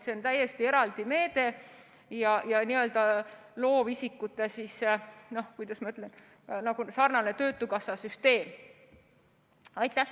See on täiesti eraldi meede ja süsteem loovisikutele, kuidas ma ütlen, mis sarnaneb töötukassa süsteemiga.